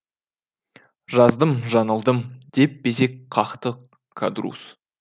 жаздым жаңылдым деп безек қақты кадрусс